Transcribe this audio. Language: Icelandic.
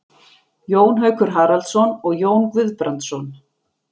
Jón Haukur Haraldsson og Jón Guðbrandsson.